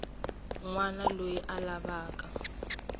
wana loyi a lavaka ku